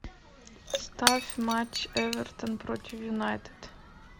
ставь матч эвертон против юнайтед